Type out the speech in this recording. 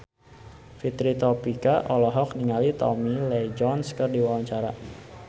Fitri Tropika olohok ningali Tommy Lee Jones keur diwawancara